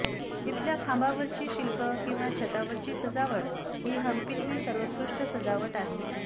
इथल्या खांबांवरची शिल्पं किंवा छतावरची सजावट ही हंपीतली सर्वोत्कृष्ट सजावट आहे